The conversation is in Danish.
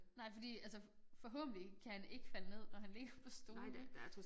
Nej fordi altså forhåbentlig kan han ikke falde ned når han ligger på stolene